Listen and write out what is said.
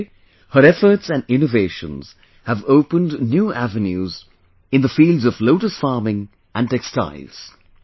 Today, her efforts and innovations have opened new avenues in the fields of lotus farming and textile